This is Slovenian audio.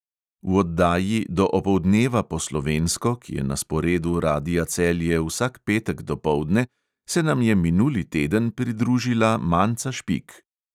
V oddaji do opoldneva po slovensko, ki je na sporedu radia celje vsak petek dopoldne, se nam je minuli teden pridružila manca špik.